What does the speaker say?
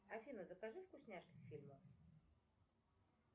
афина закажи вкусняшки к фильму